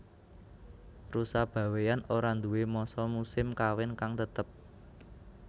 Rusa Bawéan ora nduwé masa musim kawin kang tetep